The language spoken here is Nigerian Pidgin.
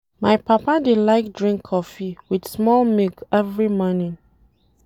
My papa dey like drink cofee wit small milk every morning.